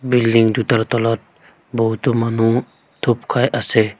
Building দুটাৰ তলত বহুতো মানুহ থুপ খাই আছে।